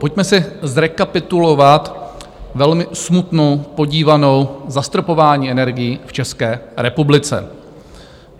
Pojďme si zrekapitulovat velmi smutnou podívanou zastropování energií v České republice.